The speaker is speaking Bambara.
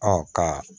ka